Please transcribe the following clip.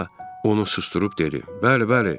Kolça onu susdurub dedi: "Bəli, bəli."